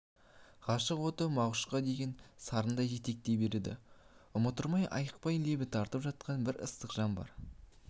ғашық оты мағшуқа деген сарындар жетектей береді ұмыттырмай айықпай лебі тартып жатқан бір ыстық жан бар